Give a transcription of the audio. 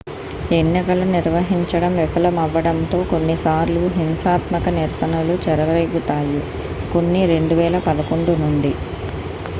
ఎన్నికలు నిర్వహించడం విఫలమవ్వడంతో కొన్ని సార్లు హింసాత్మక నిరసనలు చెలరేగుతాయి కొన్ని 2011 నుండి